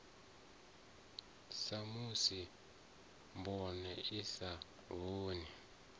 samusi mboma i sa vhoni